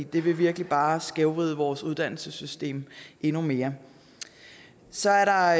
det vil virkelig bare skævvride vores uddannelsessystem endnu mere så er der